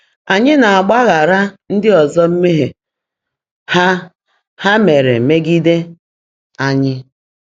Ànyị́ ná-ágbaagháàrá ndị́ ọ́zọ́ mmèhié há há meèré meègídé ányị́?